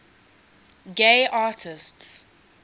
gay artists